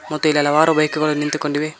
ಮತ್ತು ಇಲ್ಲಿ ಹಲವಾರು ಬೈಕ್ ಗಳು ನಿಂತುಕೊಂಡಿವೆ.